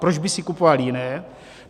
Proč bych si kupoval jiné?